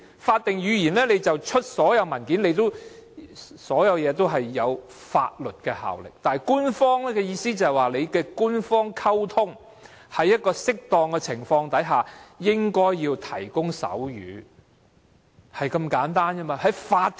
法定語言是所有政府文件必須採用的語言，具有法律效力，但官方的意思，只是在官方溝通方面，在適當的情況下，應該提供手語的服務。